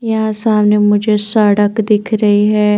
यहाँ सामने मुझे सड़क दिख रही है।